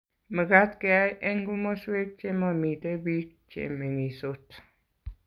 mekat keyai eng' komoswek che mamito biik che meng'isot